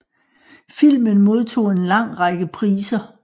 Filmen modtog en lang række priser